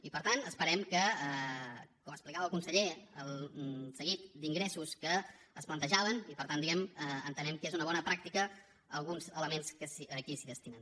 i per tant esperem com explicava el conseller el seguit d’ingressos que es plantejaven i per tant entenem que són una bona pràctica alguns elements que aquí es destinen